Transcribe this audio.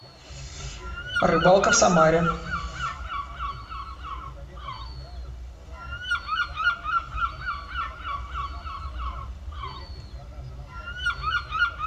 рыбалка в самаре